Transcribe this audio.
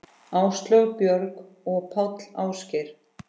Áslaug, Björg og Páll Ásgeir.